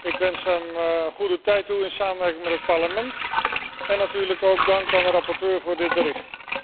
Ik wens hem een goede tijd toe in samenwerking met het Parlement en natuurlijk ook dank aan de rapporteur voor dit verslag.